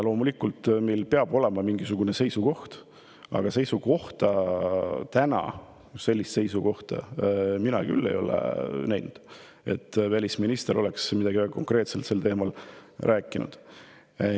Loomulikult, meil peab olema mingisugune seisukoht, aga täna sellist seisukohta mina küll ei näinud, et välisminister oleks midagi konkreetset sel teemal rääkinud.